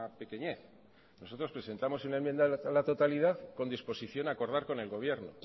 pequeñez nosotros presentamos una enmienda a la totalidad con disposición a acordar con el gobierno